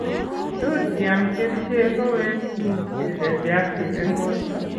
Tot iam kercheek koweek tuguk che radiactive eng' borto